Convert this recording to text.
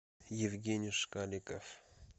евгений шкаликов